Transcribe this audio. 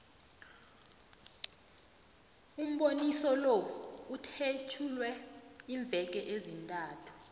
umboniso lo uthetjulwe iimveke ezintathu